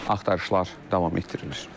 Axtarışlar davam etdirilir.